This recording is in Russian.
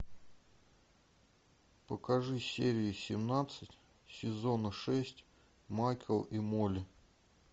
покажи серию семнадцать сезона шесть майк и молли